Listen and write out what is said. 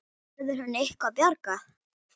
Verður henni eitthvað bjargað?